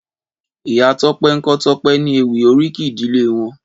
Ìyá Tope n kò Tope ni éwì óríkì ìdílé wòn